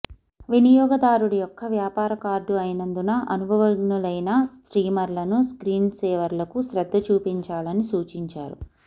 వినియోగదారుడు యొక్క వ్యాపార కార్డు అయినందున అనుభవజ్ఞులైన స్ట్రీమర్లను స్క్రీన్సేవర్లకు శ్రద్ధ చూపించాలని సూచించారు